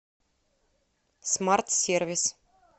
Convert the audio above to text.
смарт сервис